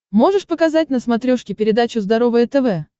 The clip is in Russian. можешь показать на смотрешке передачу здоровое тв